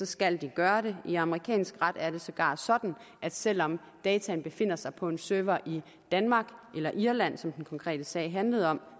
skal de gøre det i amerikansk ret er det sågar sådan at selv om data befinder sig på en server i danmark eller irland som den konkrete sag handlede om